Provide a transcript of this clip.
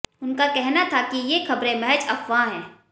उनका कहना था कि ये खबरें महज अफवाह हैं